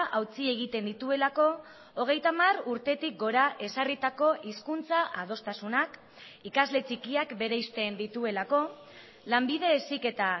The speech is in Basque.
hautsi egiten dituelako hogeita hamar urtetik gora ezarritako hizkuntza adostasunak ikasle txikiak bereizten dituelako lanbide heziketa